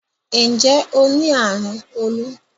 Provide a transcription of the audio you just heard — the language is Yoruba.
Nje o ni arun olu?